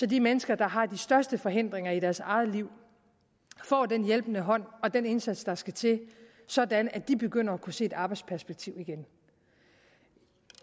de mennesker der har de største forhindringer i deres eget liv får den hjælpende hånd og den indsats der skal til sådan at de begynder at kunne se et arbejdsperspektiv igen